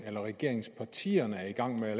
regeringspartierne er i gang med at